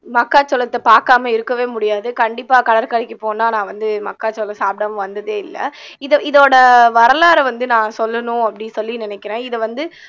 மக்காச்சோளத்தை பார்க்காம இருக்கவே முடியாது கண்டிப்பா கடற்கரைக்கு போனா நான் வந்து மக்காச்சோளம் சாப்பிடாம வந்ததே இல்லை இது இதோட வரலாறை வந்து நான் சொல்லணும் அப்படின்னு சொல்லி நினைக்கிறேன் இதை வந்து